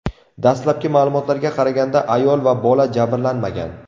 Dastlabki ma’lumotlarga qaraganda, ayol va bola jabrlanmagan.